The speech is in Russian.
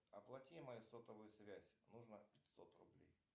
оплати мою сотовую связь нужно пятьсот рублей